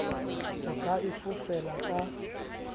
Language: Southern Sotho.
o ka e fofela ka